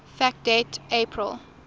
fact date april